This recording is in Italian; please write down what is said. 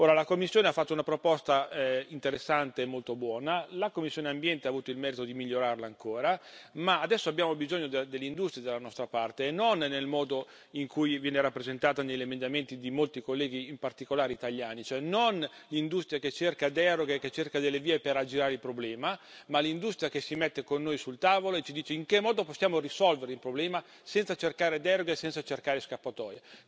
La Commissione ha fatto una proposta interessante e molto buona, la commissione ENVI ha avuto il merito di migliorarla ancora ma adesso abbiamo bisogno dell'industria dalla nostra parte, e non nel modo in cui viene rappresentata negli emendamenti di molti colleghi, in particolare italiani, cioè non l'industria che cerca deroghe, che cerca delle vie per aggirare il problema, ma l'industria che si mette con noi al tavolo e ci dice in che modo possiamo risolvere il problema, senza cercare deroghe e senza cercare scappatoie.